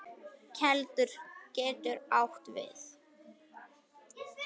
Keldur getur átt við